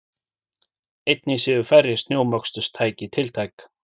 Einnig séu færri snjómoksturstæki tiltæk